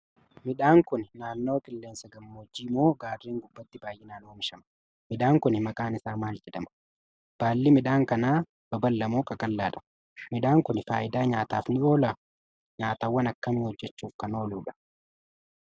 Midhaan Kuni naannawa qilleensa gammoojjii moo gaarren gubbaatti baay'inaan oomishama?. Midhaan Kuni maqaan isaa maal jedhama?. Balli midhaan kanaa babal'aa moo qaqal'aadha?. Midhaan Kuni faayidaa nyaataaf ni oolaa?. Nyaatawwaan akkamii hojjachuuf kan ooludha?.